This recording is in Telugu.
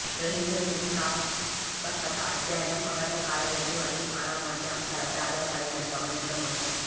గ్రహించిన స్థితిస్థాపకత అధ్యయనం కవర్లు కాల వ్యవధి మరియు స్థానాలు వంటి అంశాలపై ఆధారపడిందని గమనించడం ముఖ్యం